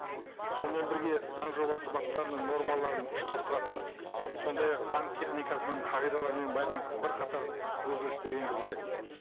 сонымен бірге заң жобасы баптарының нормаларын ұштастыратын сондай ақ заң техникасының қағидаларымен байланысты бірқатар өзгерістер енгізілді